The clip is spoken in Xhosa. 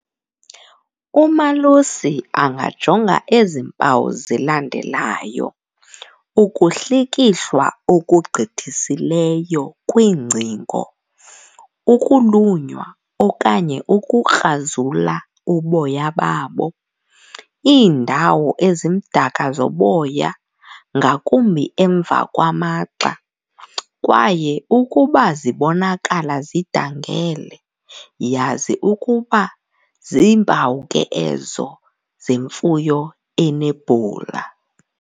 Umalusi angajonga ezi mpawu zilandelayo, ukuhlikihlwa okugqithisileyo kwiingcingo, ukulunywa okanye ukukrazula uboya babo, iindawo ezimdaka zoboya ngakumbi emva kwamagxa kwaye ukuba zibonakala zidangele yazi ukuba ziimpawu ke ezo zemfuyo enebhula.